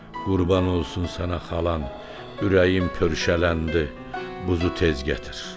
Qurban olsun sənə xalan, ürəyim körşələndi, buzu tez gətir.